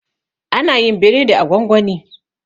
ana yin biredi a gwangwani